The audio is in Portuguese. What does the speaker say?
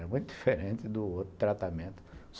Era muito diferente do outro tratamento.